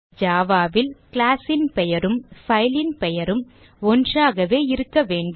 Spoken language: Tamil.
java ல் class ன் பெயரும் file ன் பெயரும் ஒன்றாகவே இருக்க வேண்டும்